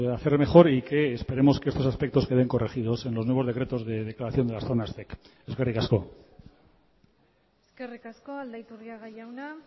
hacer mejor y que esperemos que estos aspectos queden corregidos en los nuevos decretos de declaración de las zonas zec eskerrik asko eskerrik asko aldaiturriaga jauna